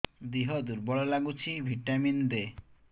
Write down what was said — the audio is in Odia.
ଦିହ ଦୁର୍ବଳ ଲାଗୁଛି ଭିଟାମିନ ଦେ